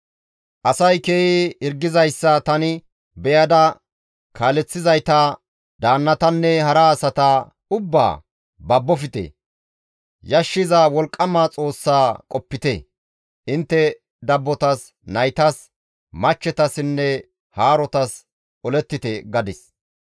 Asay keehi hirgizayssa tani beyada kaaleththizayta, daannatanne hara asata ubbaa, «Babbofte! Yashshiza Wolqqama Xoossa qopite! Intte dabbotas, naytas, machchetassinne haarotas olettite!» gadis.